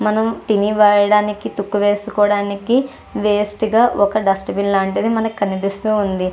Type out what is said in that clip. మనం తినే వేయడానికి తుక్కు వేసుకోవడానికి వేస్ట్ గా ఒక డస్ట్ బిన్ లాంటిది మనకు కనిపిస్తూ ఉంది.